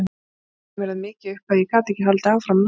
Hann bætti mér það mikið upp að ég gat ekki haldið áfram námi.